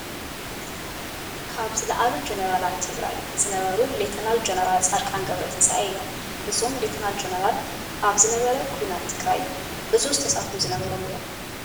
ካብ ዝለዓሉ ጀነራላት ትግራይ ዝነበሩ ሌቴናል ጀነራል ፃድቃን ገብረትንሳኤ እዮም። እዞም ለ/ጀነራል ኣብ ዝነበረ ኩናት ትግራይ ዕዙዝ ተሳትፎ ዝነበሮም እዮም።